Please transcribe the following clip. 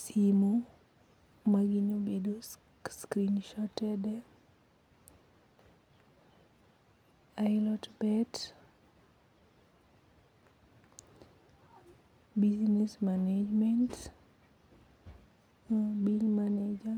Simu ma gini obedo screen shoted, ilot bet, business management, bill manager.